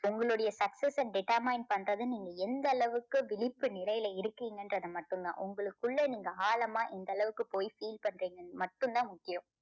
உங்களுடைய success அ determine பண்றது நீங்க எந்த அளவுக்கு விழிப்பு நிலையில இருக்கீங்கன்றது மட்டும்தான் உங்களுக்குள்ள நீங்க ஆழமா இந்த அளவுக்கு போய் feel பண்றீங்கங்ன்னு மட்டுந்தான் முக்கியம்.